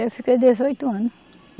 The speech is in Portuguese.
Eu fiquei dezoito anos.